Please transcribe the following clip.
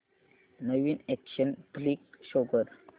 नवीन action flick show कर